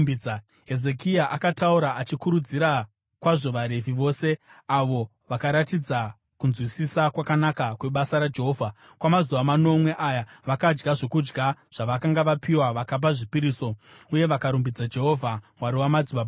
Hezekia akataura achikurudzira kwazvo vaRevhi vose, avo vakaratidza kunzwisisa kwakanaka kwebasa raJehovha. Kwamazuva manomwe aya vakadya zvokudya zvavakanga vapiwa, vakapa zvipiriso uye vakarumbidza Jehovha Mwari wamadzibaba avo.